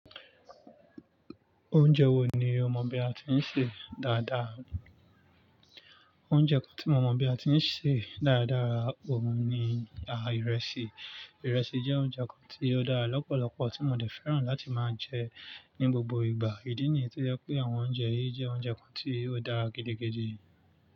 Oúnjẹ wo ni o mọ̀ bí a ti ń sè dáadáa? Oúnjẹ kan tí mo mọ̀ bí a ti ń sè dáadáa òun ni àh ìrẹsì. Ìrẹsì jẹ́ oúnjẹ kan tí ó dára lọ́pọ̀lọpọ̀ tí mo dè fẹ́ràn láti máa jẹ ní gbogbo ìgbà. Ìdí nìyí tó jẹ́ pé àwọn oúnjẹ yìí jẹ́ oúnjẹ kan tí ó dára gidi gidi.